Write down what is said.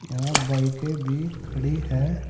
यहां बाईकें भी खड़ी है।